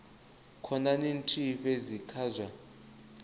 khonani nthihi fhedzi kha zwa